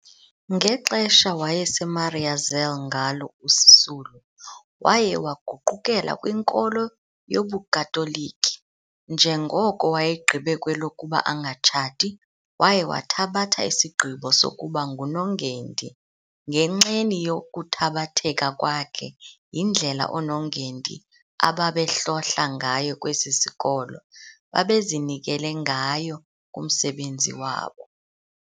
Ngexesha wayeseMariazelle ngalo uSisulu, waye waguqukela kwinkolo yobuKatoliki, njengoko wayegqibe kwelokuba angatshati, waye wathabatha isigqibo sokuba ngunongendi ngenxeni yokuthabatheka kwakhe yindlela oonongendi ababehlohla ngayo kwesi sikolo babezinikele ngayo kumsebenzi wabo.